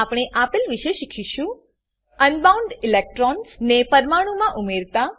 આપણે આપેલ વિશે શીખીશું અનબાઉન્ડ ઈલેક્ટ્રોન્સ ને પરમાણુમા ઉમેરતા